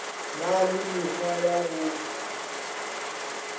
na le mekgwa ya go